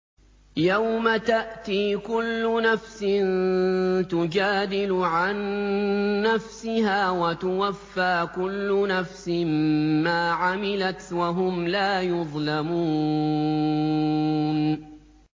۞ يَوْمَ تَأْتِي كُلُّ نَفْسٍ تُجَادِلُ عَن نَّفْسِهَا وَتُوَفَّىٰ كُلُّ نَفْسٍ مَّا عَمِلَتْ وَهُمْ لَا يُظْلَمُونَ